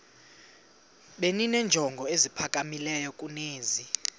benenjongo eziphakamileyo kunezi